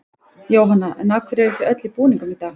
Jóhanna: En af hverju eruð þið öll í búningum í dag?